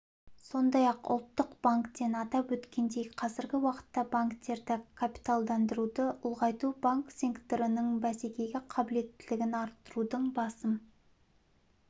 сондай-ақ ұлттық банктен атап өткендей қазіргі уақытта банктерді капиталдандыруды ұлғайту банк секторының бәсекеге қабілеттілігін арттырудың басым